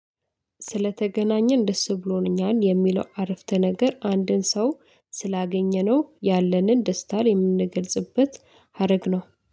ስለተገናኘን ደስ ብሎን እኛን የሚለው አረፍተ ነገር አንድን ሰው ስላገኘነው ያለንን ደስታ ላይ የምንገልጽበት ሀረግ ነው።